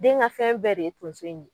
Den gɛ fɛn bɛɛ de ye tonso in ye